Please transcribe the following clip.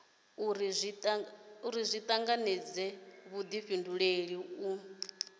uri zwi tanganedze vhudifhinduleli u